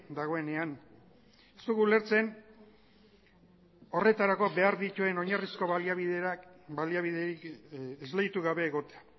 dagoenean ez dugu ulertzen horretarako behar dituen oinarrizko baliabiderik esleitu gabe egotea